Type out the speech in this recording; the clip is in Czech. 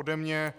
Ode mě